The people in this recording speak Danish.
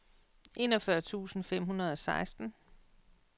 enogfyrre tusind fem hundrede og seksten